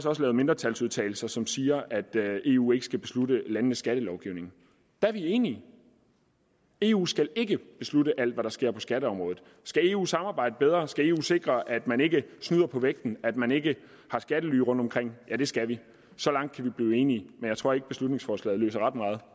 også lavet mindretalsudtalelser som siger at eu ikke skal beslutte landenes skattelovgivning der er vi enige eu skal ikke beslutte alt hvad der sker på skatteområdet skal eu samarbejde bedre skal eu sikre at man ikke snyder på vægten at man ikke har skattely rundtomkring ja det skal eu så langt kan vi blive enige men jeg tror ikke beslutningsforslaget løser ret meget